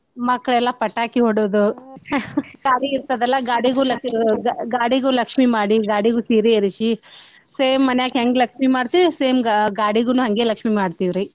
ಮಕ್ಳೆಲ್ಲಾ ಪಟಾಕಿ ಹೊಡ್ಯೋದು ಗಾಡಿ ಇರ್ತದಲ್ಲ ಗಾಡಿಗೂ ಲಕ್~ ಗಾಡಿಗೂ ಲಕ್ಷ್ಮೀ ಮಾಡೀ ಗಾಡಿಗೂ ಸೀರಿ ಏರ್ಸಿ same ಮನ್ಯಾಗ ಹೆಂಗ್ ಲಕ್ಷ್ಮೀ ಮಾಡ್ತಿವ same ಗಾಡಿಗನೂ ಹಂಗೆ ಲಕ್ಷ್ಮೀ ಮಾಡ್ತೀವ್ರಿ.